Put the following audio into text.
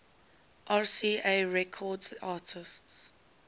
rca records artists